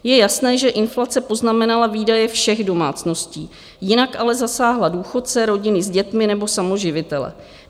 Je jasné, že inflace poznamenala výdaje všech domácností, jinak ale zasáhla důchodce, rodiny s dětmi nebo samoživitele.